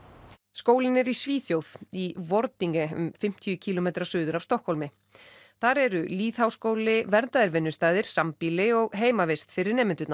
skólinn er í Svíþjóð í um fimmtíu kílómetra suður af Stokkhólmi þar eru lýðháskóli verndaðir vinnustaðir sambýli og heimavist fyrir nemendurna